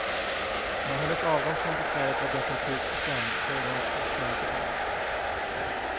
När hennes avgång från befälet var definitivt bestämd, böjde de två knä tillsammans.